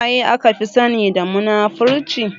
Suwaye aka fi sani da munafurci?